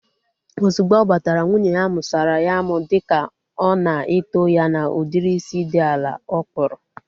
Ozugbo ọ batara, nwunye ya musara ya amu dịka ọ na eto ya na udiri isi dị ala ọ kpụrụ